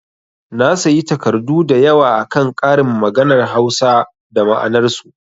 Na sayi takardu da yawa akan ƙarin maganar Hausa da ma'anar su